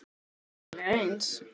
Varla lykta þeir allir eins.